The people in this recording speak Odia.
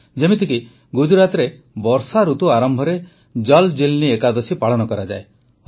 ଯେମିତିକି ଗୁଜରାଟରେ ବର୍ଷାଋତୁ ଆରମ୍ଭରେ ଜଲ୍ ଜୀଲ୍ନି ଏକାଦଶୀ ପାଳନ କରାଯାଏ